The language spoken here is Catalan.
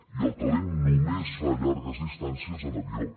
i el talent només fa llargues distàncies en avió